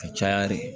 Ka caya de